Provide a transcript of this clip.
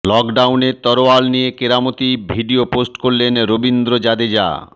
লকডাউনে তরোয়াল নিয়ে কেরামতির ভিডিও পোস্ট করলেন রবীন্দ্র জাদেজা